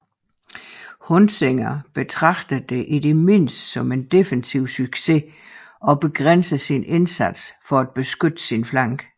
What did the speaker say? Huntzinger betragtede det i det mindste som en defensiv succes og begrænsede sin indsats for at beskytte sin flanke